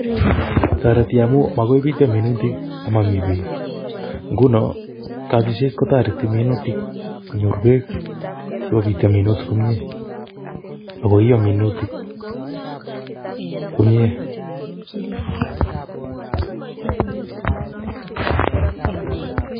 Toreti amun mokoi bityo minutik omomii beek ngunon kobiset kotoreti minutik konyor beek sikopityo minutik komie ak koiyoo minutik komie.